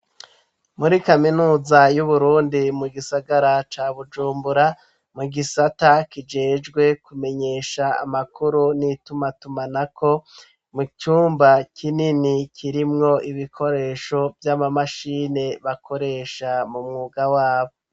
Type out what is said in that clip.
Muri kaminuza y'Uburundi mu gisagara ca Bujumbura, mu gisata kijejwe kumenyesha amakuru n'itumatumanako ,mu cumba kinini kirimwo ibikoresho vy'amamashini bakoresha mu mwuga wabo.